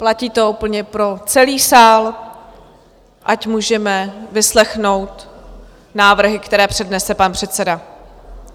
Platí to úplně pro celý sál, ať můžeme vyslechnout návrhy, které přednese pan předseda.